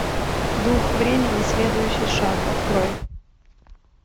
дух времени следующий шаг открой